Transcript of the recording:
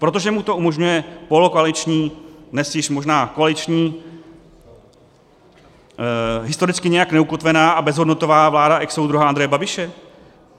Protože mu to umožňuje polokoaliční, dnes již možná koaliční, historicky nijak neukotvená a bezhodnotová vláda exsoudruha Andreje Babiše?